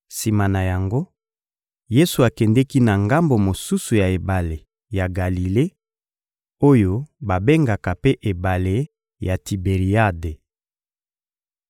Sima na yango, Yesu akendeki na ngambo mosusu ya ebale ya Galile oyo babengaka mpe ebale ya Tiberiade.